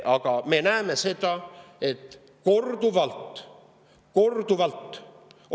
Aga me oleme korduvalt näinud – korduvalt!